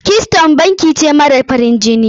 Keystone banki ce mara farin jini.